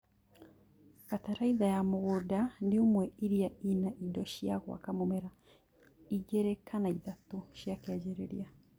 Bataraitha ya mũgũnda nĩ ũmwe iria ĩna indo cia gwaka mũmera igĩrĩ kana ithatũ cia kĩanjĩrĩria